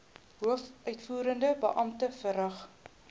hoofuitvoerende beampte verrig